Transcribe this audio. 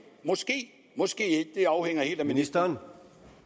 måske måske ikke det afhænger helt af ministeren